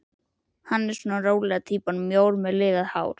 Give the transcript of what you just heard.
Hann er svona rólega týpan, mjór með liðað hár.